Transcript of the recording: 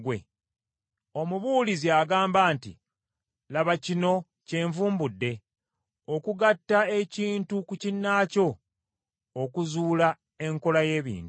Omubuulizi agamba nti, “Laba, kino kyenvumbudde: “Okugatta ekintu ku kinnaakyo, okuzuula enkola y’ebintu,